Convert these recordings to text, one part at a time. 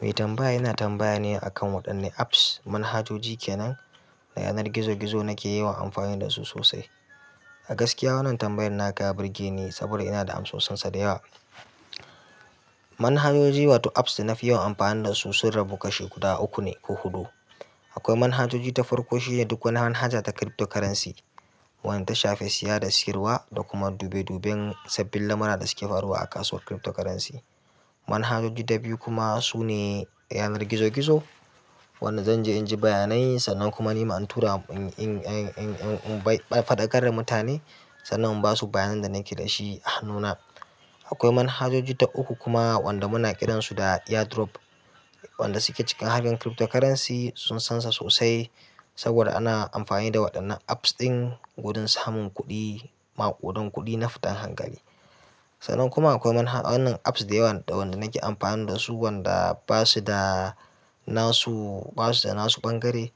Mai tambaya yana tambaya ni akan waɗanne apps, manhajoji ke nan da yanar gizo-gizo nake yawan amfani da su sosai. A gaskiya wannan tambayar na ka ta burge ni saboda ina da amsossansa da yawa. Manhajoji wato apps da na fi yawan amfani da su sun rabu kashi guda uku ne ko huɗu. Akwai manhajoji ta farko shine duk wani hanhaja ta cryptocurrency, wanda ta shafe siya da siyarwa da kuma dube-duban sabbin lamura da suke faruwa a kasuwar cryptocurrency. Manhajoji ɗabi'u kuma su ne yanar gizo-gizo wanda zan je in ji bayanai sannan kuma ni ma in tura in-in-in bai-- faɗa karra mutane sannan in basu bayanin da nake dashi a hannuna. Akwai manhajoji ta uku kuma wanda muna kiransu da ear drop wanda suke cikin hanyar cryptocurrency sun sansa sosai saboda ana amfani da waɗannan apps ɗin gurun samun kuɗi, maƙudan kuɗi na futan hankali. Sannan kuma akwai manhajan wannan apps da yawa da wanda nake amfani da su wanda basu da nasu basu da nasu ɓangare.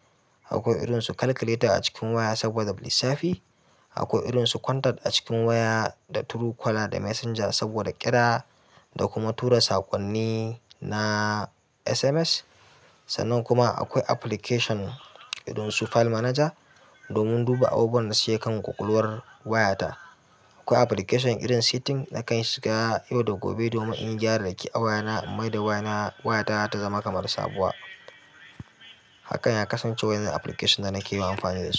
Akwai irin su calculator a cikin waya saboda lissafi. Akwai irin su contact a cikin waya da true caller da messenger saboda ƙira da kuma tura saƙonni na SMS. Sannan kuma akwai application irin su file manager domin duba abubuwan da suke kan ƙwaƙwalwar wayata. Akwai application irin setting nakan shiga yau da gobe domin in gyararraki a waya na, in maida waya na, wayata ta zama kamar sabuwa. Hakan ya kasance waɗannan application da nake yi amfani da su.